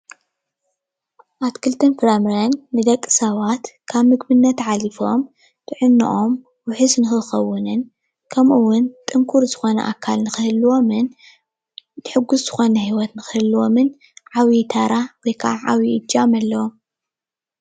ኣትክልትን ፍራምረን ንደቂ ሰባት ካብ ምግብነት ሓሊፎም ጥዕናኦም ውሑስ ንኽኸውንን ከምኡውን ጥንኩር ዝኾነ ኣካል ንኽህልዎምን ሕጉስ ዝኾነ ህይወት ንኽህልዎምን ዓቢይ ተራ ወይ ከዓ ዓቢይ እጃም ኣለዎም።